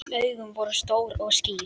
Augun voru stór og skýr.